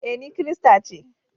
E, ni kirista ce.